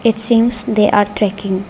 It seems they are trekking.